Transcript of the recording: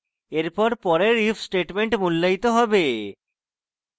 এরপর পরের if statement মূল্যায়িত হবে